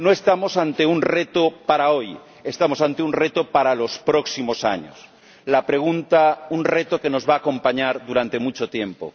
No estamos ante un reto para hoy, estamos ante un reto para los próximos años, un reto que nos va a acompañar durante mucho tiempo.